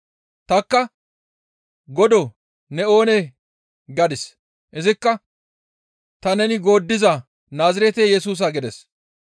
Tanikka, ‹Godoo, ne oonee?› gadis; izikka, ‹Ta neni gooddiza Naazirete Yesusa› gides.